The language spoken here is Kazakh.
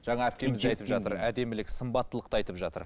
әдемілік сымбаттылықты айтып жатыр